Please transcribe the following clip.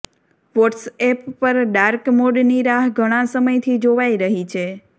WhatsApp પર dark મોડની રાહ ઘણાં સમયથી જોવાય રહી છે